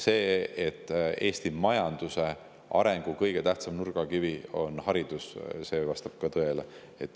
See, et Eesti majanduse arengu kõige tähtsam nurgakivi on haridus, vastab ka tõele.